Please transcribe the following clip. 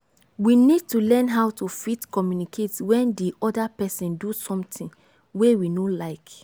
we need to learn how to fit communicate when di oda person do something wey we no like